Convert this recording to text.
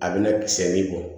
A bɛna siyɛn min bɔ